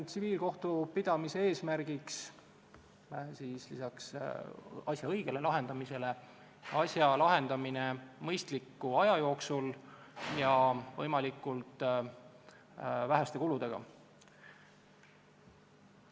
Tsiviilkohtupidamise eesmärk on lisaks asja õigele lahendamisele ka asja lahendamine mõistliku aja jooksul ja võimalikult väheste kuludega.